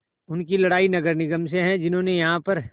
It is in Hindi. उनकी लड़ाई नगर निगम से है जिन्होंने यहाँ पर